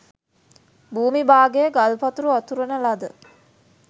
භූමි භාගය ගල්පතුරු අතුරන ලද